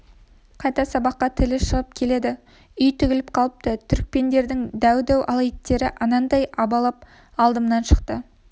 қайта сабаққа тілі шығып келеді үй тігіліп қалыпты түрікпендердің дәу-дәу ала иттері анадайдан абалап алдымнан шықты